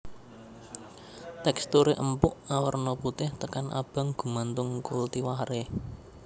Teksturé empuk awerna putih tekan abang gumantung kultivaré